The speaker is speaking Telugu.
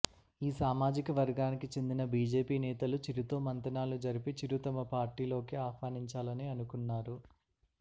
ఈ సామజిక వర్గానికి చెందిన బీజేపి నేతలు చిరు తో మంతనాలు జరిపి చిరు తమ పార్టీలోకి ఆహ్వానించాలని అనుకున్నారు